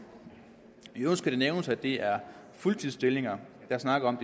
i øvrigt skal det nævnes at det er fuldtidsstillinger jeg snakker om